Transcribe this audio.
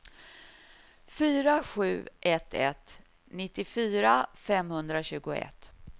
fyra sju ett ett nittiofyra femhundratjugoett